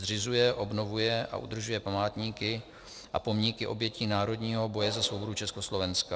Zřizuje, obnovuje a udržuje památníky a pomníky obětí národního boje za svobodu Československa.